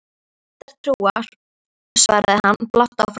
Ég er vættatrúar, svarar hann blátt áfram.